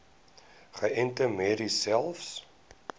geënte merries selfs